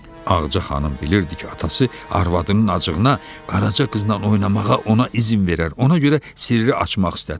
Ağaca xanım bilirdi ki, atası arvadının acığına Qaraca qızla oynamağa ona izin verər, ona görə sirri açmaq istədi.